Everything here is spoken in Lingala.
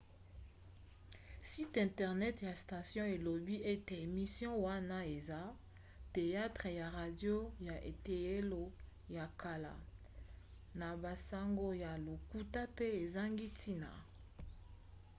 site internet ya station elobi ete emission wana eza teyatre ya radio ya eteyelo ya kala na basango ya lokuta pe ezangi ntina!